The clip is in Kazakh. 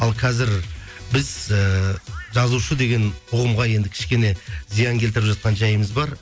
ал қазір біз ііі жазушы деген ұғымға енді кішкене зиян келтіріп жатқан жайымыз бар